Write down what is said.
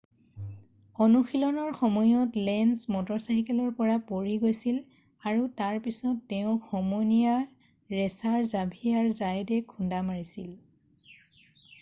অনুশীলনৰ সময়ত লেঞ্জ মটৰচাইকেলৰ পৰা পৰি গৈছিল আৰু তাৰ পিছত তেওঁক সমনীয়া ৰেছাৰ জাভিয়াৰ জায়তে খুন্দা মাৰিছিল